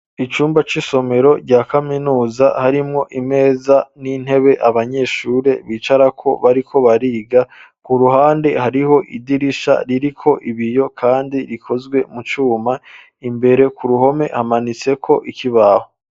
Icumba c'isomero, rya kaminuza, harimwo imeza, n'intebe, abanyeshure bicarako, bariko bariga; ku ruhande, hariho idirisha, ririko ibiyo, kandi rikozwe mu cuma; imbere ku ruhome, hamanitseko ikibaho.